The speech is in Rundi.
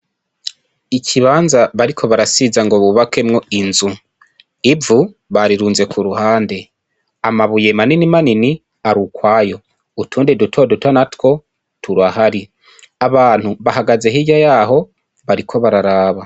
Ikibanza bariko barasiza ngo bubakemwo inzu ivu barirunze ku ruhande amabuye mani manini ari ukwayo utundi dutoduto natwo turahari abantu bahagaze hirya yaho bariko bararaba .